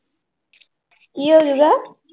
ਕੀ ਹੋ ਜਾਊਗਾ?